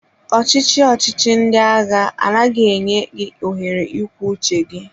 Ọchị chi ndị agha anaghị enye gị ohere ikwu uche gị.